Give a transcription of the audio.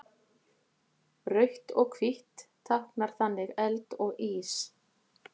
Rautt og hvítt táknar þannig eld og ís.